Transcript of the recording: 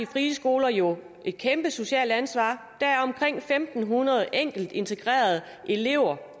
frie skoler jo et kæmpe socialt ansvar der er omkring en tusind fem hundrede enkeltintegrerede elever